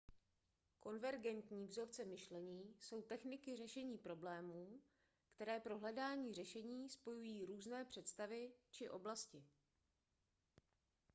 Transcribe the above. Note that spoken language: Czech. konvergentní vzorce myšlení jsou techniky řešení problémů které pro hledání řešení spojují různé představy či oblasti